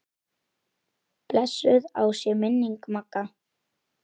Blessuð sé minning Magga.